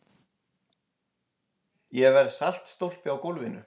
Ég verð saltstólpi á gólfinu.